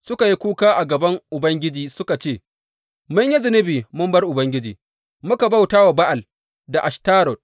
Suka yi kuka a gaban Ubangiji suka ce, Mun yi zunubi mun bar Ubangiji, muka bauta wa Ba’al da Ashtarot.